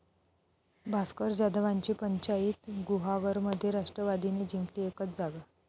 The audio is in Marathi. भास्कर जाधवांची 'पंचाईत', गुहागरमध्ये राष्ट्रवादीने जिंकली एकच जागा